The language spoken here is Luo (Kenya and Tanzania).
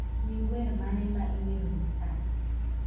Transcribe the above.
Nying wer mane ma iweroni sani?